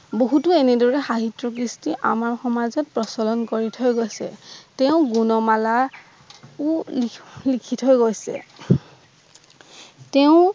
বহুতো এনেদৰে হাঁহিটো কৃষ্টি আমাৰ সমাজত প্ৰচলন কৰি থৈ গৈছে তেওঁ গুণমালা ও লিখি থৈ গৈছে তেওঁ